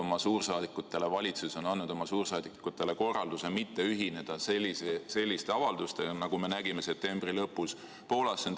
Miks Eesti valitsus on andnud oma suursaadikutele korralduse mitte ühineda selliste avaldustega, nagu me nägime septembri lõpus Poolas?